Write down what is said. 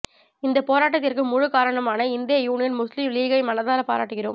இந்த போராட்டத்திற்கு முழு காரணமான இந்திய யூனியன் முஸ்லிம் லீகை மனதார பாராட்டுகிறோம்